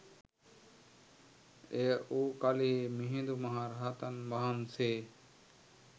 එය වූ කලී මිහිඳු මහ රහතන් වහන්සේ